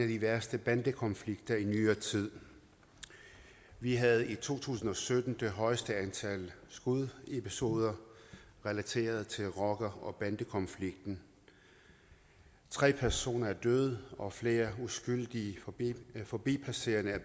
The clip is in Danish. af de værste bandekonflikter i nyere tid vi havde i to tusind og sytten det højeste antal skudepisoder relateret til rocker og bandekonflikten tre personer er døde og flere uskyldige forbipasserende er